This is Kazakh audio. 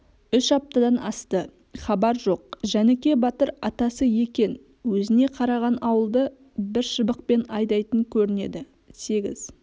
үш аптадан асты хабар жоқ жәніке батыр атасы екен өзіне қараған ауылды бір шыбықпен айдайтын көрінеді сегіз